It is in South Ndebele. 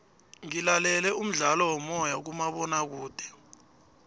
ngilalele umdlalo womoya kumabonakude